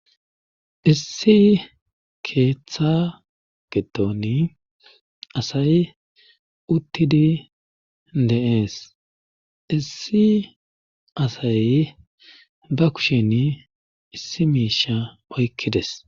Issi keeththa geton asay uttidi de7ees issi asay ba kushin issi miisha oykkides